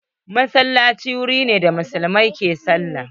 Masallaci wuri ne da muslimai ke sallah.